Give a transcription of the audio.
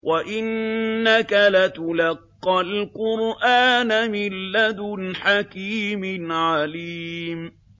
وَإِنَّكَ لَتُلَقَّى الْقُرْآنَ مِن لَّدُنْ حَكِيمٍ عَلِيمٍ